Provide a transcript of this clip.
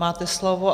Máte slovo.